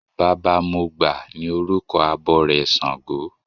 Baba mọgbà ni orúkọ abọrẹ̀ ṣàngó.